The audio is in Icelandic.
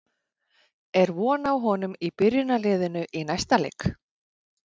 Er von á honum í byrjunarliðinu í næsta leik?